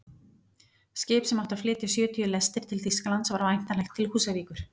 Skip sem átti að flytja sjötíu lestir til Þýskalands var væntanlegt til Húsavíkur.